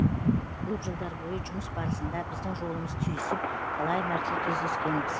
көп жылдар бойы жұмыс барысында біздің жолымыз түйісіп талай мәрте кездескенбіз